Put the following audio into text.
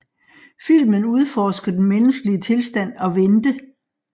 Filmen udforsker den menneskelige tilstand at vente